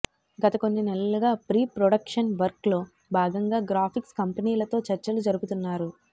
గత కొన్ని నెలలుగా ప్రీ ప్రొడక్షన్ వర్క్ లో భాగంగా గ్రాఫిక్స్ కంపెనీలతో చర్చలు జరుపుతున్నారు